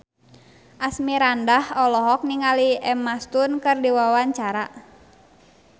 Asmirandah olohok ningali Emma Stone keur diwawancara